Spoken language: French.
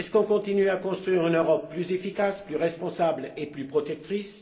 Continuons nous à construire une Europe plus efficace, plus responsable et plus protectrice?